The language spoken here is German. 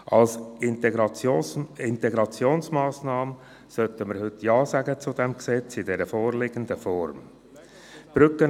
Als Integrationsmassnahme sollten wir heute dem Gesetz in der vorliegenden Form zustimmen.